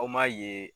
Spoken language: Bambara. Aw m'a ye